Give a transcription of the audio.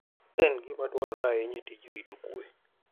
En gima dwarore ahinya e tij rito kuwe.